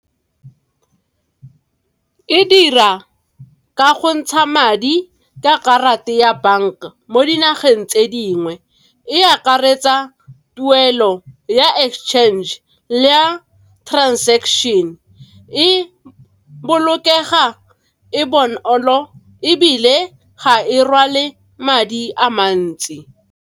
E dira ka go ntsha madi ka karata ya bank mo dinageng tse dingwe, e akaretsa tuelo ya exchange le ya transaction, e bolokega, e bonolo, ebile ga e rwale madi a mantsi.